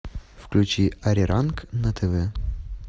включи ариранг на тв